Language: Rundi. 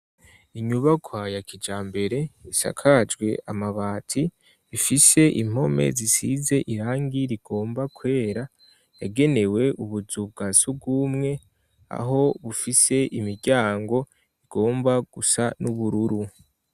Inyubakwa ya kijambere isakajwe amabati, ifise impome zisize irangi rigomba kwera, yagenewe ubuzu bwa surwumwe, aho bufise imiryango igomba gusa n'ubururu.